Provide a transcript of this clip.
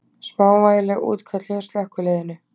Smávægileg útköll hjá slökkviliðinu